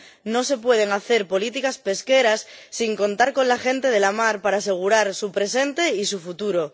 No se pueden hacer políticas pesqueras sin contar con la gente de la mar para asegurar su presente y su futuro.